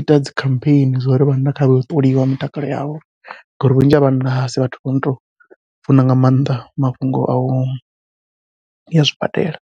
ita dzi khampheni zwo ri vhanna kha vha ye u ṱoliwa mitakalo yavho ngauri vhunzhi ha vhanna asi vhathu vha no tou funa nga maanḓa mafhungo au ya zwibadela.